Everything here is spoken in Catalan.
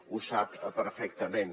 ho sap perfectament